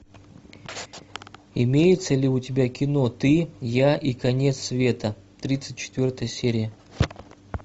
имеется ли у тебя кино ты я и конец света тридцать четвертая серия